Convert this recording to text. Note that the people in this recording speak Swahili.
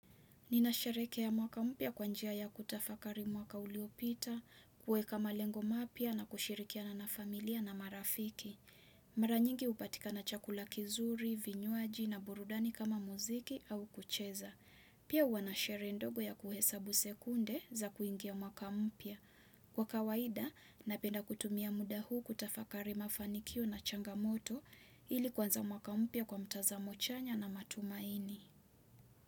Ninasherehekea mwaka mpya kwa njia ya kutafakari mwaka uliopita, kuweka malengo mapya na kushirikiana na familia na marafiki. Mara nyingi hupatikana chakula kizuri, vinywaji na burudani kama muziki au kucheza. Pia huwa na sherehe ndogo ya kuhesabu sekunde za kuingia mwaka mpya. Kwa kawaida, napenda kutumia muda huu kutafakari mafanikio na changamoto ili kuanza mwaka mpya kwa mtazamo chanya na matumaini.